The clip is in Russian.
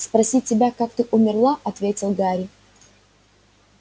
спросить тебя как ты умерла ответил гарри